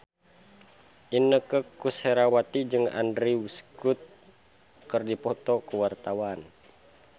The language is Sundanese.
Inneke Koesherawati jeung Andrew Scott keur dipoto ku wartawan